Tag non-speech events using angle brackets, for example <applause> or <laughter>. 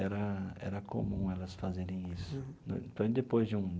Era era comum elas fazerem isso, <unintelligible> depois de um.